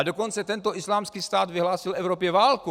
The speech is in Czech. A dokonce tento islámský stát vyhlásil Evropě válku!